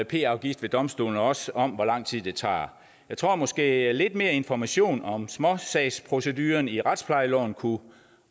p afgift ved domstolene og også om hvor lang tid det tager jeg tror måske at lidt mere information om småsagsprocedurerne i retsplejeloven kunne